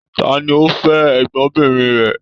Ta ni o fẹ́ ẹ̀gbọ́nbìnrin rẹ?